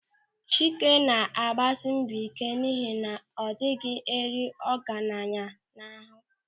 Chika na-agbasị mbọ ị́ké n'ihi na adịghị eri ọgaranya n'aha.